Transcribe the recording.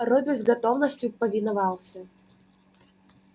робби с готовностью повиновался